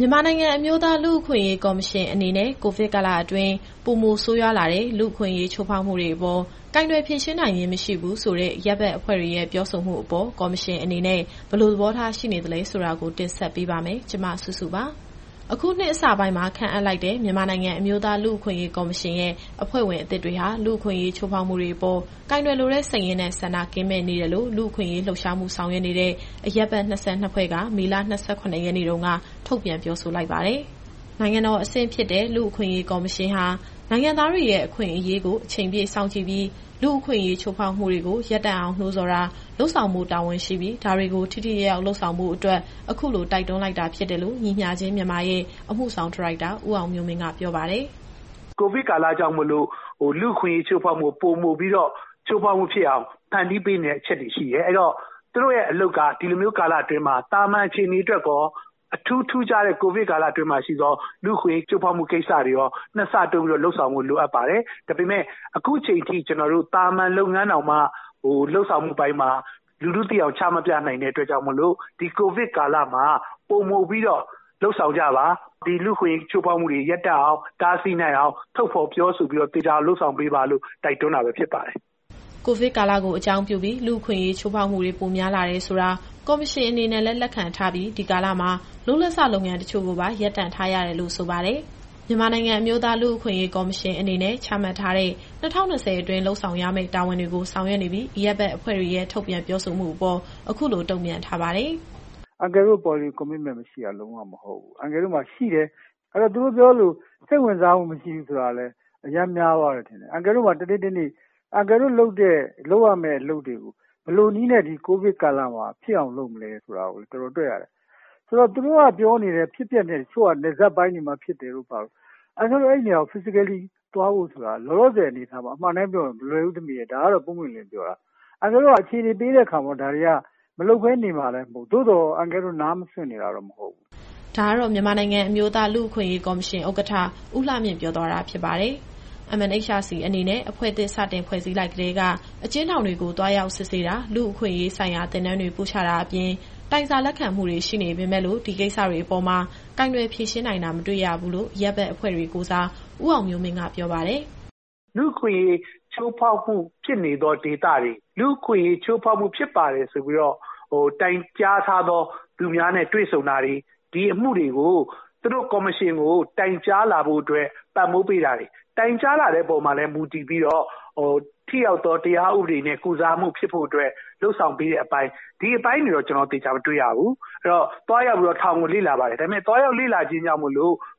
မြန်မာနိုင်ငံ အမျိုးသားလူ့အခွင့်အရေးကော်မရှင်အနေနဲ့ ကိုဗစ်ကာလတွင်း ပိုမိုဆိုးရွားလာတဲ့ လူ့အခွင့်အရေး ချိုးဖောက်မှုတွေအပေါ် ကိုင်တွယ်ဖြေရှင်းနိုင်ခြင်း မရှိဘူးဆိုတဲ့ အရပ်ဘက်အဖွဲ့တွေရဲ့ပြောဆိုမှုအပေါ် ကော်မရှင်အနေနဲ့ ဘယ်လိုသဘောထားရှိနေသလဲဆိုတာကို တင်ဆက်ပေးပါမယ်။ ဒီအကြောင်း ဗွီအိုအေမြန်မာပိုင်း သတင်းထောက် မစုစုက ပြောပြပေးပါမယ်။ အခုနှစ်အစပိုင်းမှာ ခန့်အပ်လိုက်တဲ့ မြန်မာနိုင်ငံအမျိုးသား လူ့အခွင့်အရေးကော်မရှင် ရဲ့အဖွဲ့ဝင်အသစ်တွေဟာ လူ့အခွင့်အရေး ချိုးဖောက်မှုတွေအပေါ်ကိုင်တွယ်လိုတဲ့စိတ်ရင်းနဲ့ ဆန္ဒကင်းမဲ့နေတယ်လို့ လူ့အခွင့်အရေး လှုပ်ရှားဆောင်ရွက်နေတဲ့ အရပ်ဘက်အဖွဲ့ ၂၂ ဖွဲ့ က မေလ ၂၇ ရက်နေ့တုန်းက ထုတ်ပြန်ပြောဆိုလိုက်ပါတယ်။ နိုင်ငံတော်အဆင့်ဖြစ်တဲ့ လူ့အခွင့်အရေးကော်မရှင်ဟာ နိုင်ငံသားတွေရဲ့အခွင့်အရေးကို အချိန်ပြည့်စောင့်ကြည့်ပြီး လူ့အခွင့်အရေးချိုးဖောက်မှုတွေကို ရပ်တန့်အောင်နှိုးဆော်တာ လုပ်ဆောင်ဖို့တာဝန်ရှိပြီး ဒါတွေကို ထိထိရောက်ရောက်လုပ်ဆောင်ဖို့အတွက် အခုလို တိုက်တွန်းလိုက်တာ ဖြစ်တယ်လို့ ညီမျှခြင်း-မြန်မာရဲ့ အမှုဆောင်ဒါရိုက်တာ ဦးအောင်မျိုးမင်းက ပြောပါတယ်။ “ကိုဗစ်ကာလကြောင့်မို့လို့ လူ့အခွင့်အရေးချိုးဖောက်မှု ပိုပြီးတော့ဖြစ်အောင် ဖန်တီးပေးနေတဲ့အချက်တွေရှိတယ်။ အဲဒီတော့ သူတို့ရဲ့အလုပ်က ဒီလိုမျိုးကာလအတွင်းမှာ သာမန်အခြေအနေအတွက်ရော၊ အထူးထူးခြားတဲ့ ကိုဗစ်ကာလအတွင်းမှာရှိသော လူ့အခွင့်အရေးချိုးဖောက်မှုကိစ္စတွေရော၊ နှစ်ဆတိုးပြီးတော့ လုပ်ဆောင်ဖို့လိုအပ်ပါတယ်။ ဒါပေမဲ့ အခုချိန်ထိ သာမန်လုပ်ငန်းတောင်မှ လုပ်ဆောင်မှုအပိုင်းမှာ လူထုသိအောင်ချ မပြနိုင်တဲ့အတွက်ကြောင့်မို့လို့ ဒီကိုဗစ်ကာလမှာ ပိုပြီးတော့လုပ်ဆောင်ကြပါ။ ဒီလူ့အခွင့်အရေး ချိုးဖောက်မှုတွေ ရပ်တန့်အောင် တားဆီးနိုင်အောင် ထုတ်ဖော်ပြောဆိုပြီးတော့ သေချာအောင်လုပ်ဆောင်ပေးပါလို့ တိုက်တွန်းတာပဲဖြစ်ပါတယ်။” ကိုဗစ်ကာလကိုအကြောင်းပြုပြီး လူ့အခွင့်အရေး ချိုးဖောက်မှုတွေ ပိုများလာတယ်ဆိုတာ ကော်မရှင်အနေနဲ့လည်း လက်ခံထားပြီး ဒီကာလမှာ လုပ်လက်စ လုပ်ငန်းတချို့ကိုပါ ရပ်တန့်ထားရတယ်လို့ ဆိုပါတယ်။ မြန်မာနိုင်ငံအမျိုးသား လူ့အခွင့်အရေးကော်မရှင်အနေနဲ့ ချမှတ်ထားတဲ့ ၂၀၂၀ အတွင်း လုပ်ဆောင်ရမယ့်တာဝန်တွေကို ဆောင်ရွက်နေပြီး၊ အရပ်ဘက်အဖွဲ့တွေရဲ့ ထုတ်ပြန်ပြောဆိုမှုအပေါ် အခုလို တုံ့ပြန်ထားပါတယ်။ “အန်ကယ်တို့မှာ Policy Commitment မရှိတာလုံးဝ မဟုတ်ဘူး။ အန်ကယ်တို့မှာ ရှိတယ်။ အဲတော့ သူတို့ပြောသလို စိတ်ဝင်စားမှု မရှိဘူးဆိုတာကလည်း အရမ်းများသွားတယ်ထင်တယ်။ အန်ကယ်တို့မှာ တနေ့တနေ့ လုပ်ရမယ့်အလုပ်တွေကို ဘယ်လိုနည်းနဲ့ ဒီကိုဗစ်ကာလမှာဖြစ်အောင် လုပ်ရမလဲဆိုတာကို တော်တော်တွက်ရတယ်။ ဆိုတော့ သူတို့ပြောနေတဲ့ နယ်စပ်ပိုင်းမှာဖြစ်နေတယ်ဆိုတာတို့ဘာတို့ အန်ကယ်တို့အဲနေရာကို Physically သွားဖို့ဆိုတာ လောလောဆယ်အနေအထားမှာ အမှန်အတိုင်းပြောရင် မလွယ်ဘူး။ ဒါ ပွင့်ပွင့်လင်းလင်းပြောတာ။ အခြေအနေပေးတဲ့အခါမှာ ဒါတွေကမလုပ်မှာလည်းမဟုတ်ဘူး။ သို့သော် အန်ကယ်တို့နားမစွင့်နေတာတော့ မဟုတ်ဘူး။” ဒါကတော့ မြန်မာနိုင်ငံအမျိုးသား လူ့အခွင့်အရေးကော်မရှင် ဥက္ကဋ္ဌ ဦးလှမြင့်ပြောသွားတာဖြစ်ပါတယ်။ MNHRC အနေနဲ့ အဖွဲ့သစ်စတင်ဖွဲ့စည်းလိုက်ကတည်းက အကျဉ်းထောင်တွေကို သွားရောက်စစ်ဆေးတာ၊ လူ့အခွင့်အရေးဆိုင်ရာ သင်တန်းတွေ ပို့ချတာအပြင် တိုင်စာလက်ခံမှုတွေရှိနေပေမယ့်လို့ ဒီကိစ္စတွေအပေါ်မှာ ကိုင်တွယ်ဖြေရှင်းနိုင်တာ မတွေ့ရဘူးလို့ အရပ်ဘက်အဖွဲ့တွေကိုယ်စား ဦးအောင်မျိုးမင်းက ပြောပါတယ်။ “လူ့အခွင့်အရေးချိုးဖောက်မှု ဖြစ်နေသောဒေသတွေ၊ လူ့အခွင့်အရေးချိုးဖောက်မှု ဖြစ်ပါတယ်ဆိုပြီးတော့ တိုင်ကြားထားတဲ့သူတွေနဲ့တွေ့ဆုံတာတွေ၊ ဒီအမှုတွေကို သူတို့ကော်မရှင်ကိုတိုင်ကြားလာဖို့အတွက် ပံ့ပိုးပေးတာတွေ။ တိုင်ကြားလာတဲ့အပေါ်မှာလည်း မူတည်ပြီးတော့ ထိရောက်သော တရားဥပဒေနဲ့ ကုစားမှုဖြစ်ဖို့အတွက် လုပ်ဆောင်ပေးတဲ့အပိုင်း။ ဒီအပိုင်းတွေကို ကျနော်တို့ သေချာမတွေ့ရဘူး။ အဲတော့ သွားရောက်ပြီးတော့ထောင်ကိုလေ့လာပါတယ်။ ဒါပေမဲ့ သွားရောက်လေ့လာခြင်းကြောင့်မို့